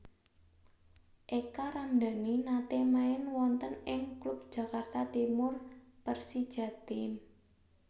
Eka Ramdani nate main wonten ing klub Jakarta Timur Persijatim